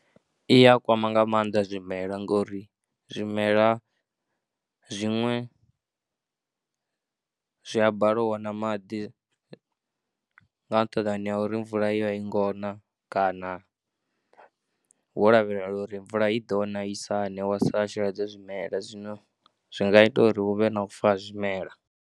I ya kwama nga maanḓa zwimela ngori zwimela zwiṅwe zwi a bala u wana maḓi nga nṱhani ha uri mvula a i ngo na kana ho lavhelelwa uri mvula i ḓo na, i sa ne wa sa sheledze zwimela zwino zwi nga ita uri hu vhe na fa zwimela.